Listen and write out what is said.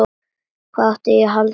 Hvað átti ég að halda?